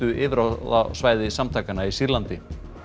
yfirráðasvæði samtakanna í Sýrlandi